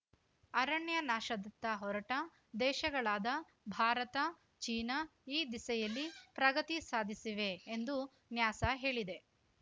ಅರಣ್ಯನಾಶದತ್ತ ಹೊರಟ ದೇಶಗಳಾದ ಭಾರತ ಚೀನಾ ಈ ದಿಸೆಯಲ್ಲಿ ಪ್ರಗತಿ ಸಾಧಿಸಿವೆ ಎಂದೂ ನ್ಯಾಸಾ ಹೇಳಿದೆ